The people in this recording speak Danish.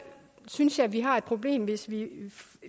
synes jeg vi har et problem hvis vi